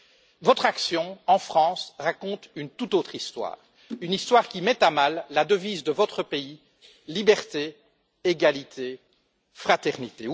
Or, votre action en France raconte une toute autre histoire, une histoire qui met à mal la devise de votre pays liberté, égalité, fraternité.